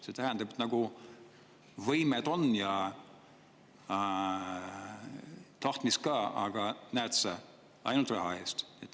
See tähendab, et võimed on ja tahtmist ka, aga näed sa, ainult raha eest.